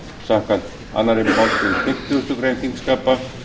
samkvæmt annarri málsgrein fimmtugustu grein þingskapa